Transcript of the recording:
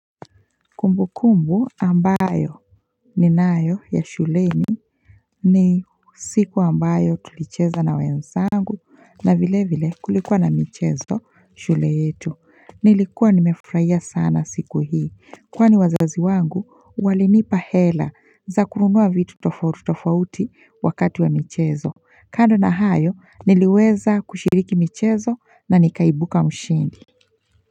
Kumbu kumbu ambayo ni nayo ya shuleni ni siku ambayo tulicheza na wenzangu na vile vile kulikuwa na michezo shule yetu nilikuwa nimefurahia sana siku hii kwani wazazi wangu walinipa hela za kununua vitu tofauti tofauti wakati wa michezo kando na hayo niliweza kushiriki michezo na nikaibuka mshindi.